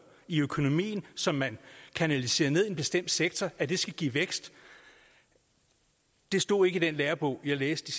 i økonomien som man kanaliserer ned i en bestemt sektor skal give vækst stod ikke i den lærebog jeg læste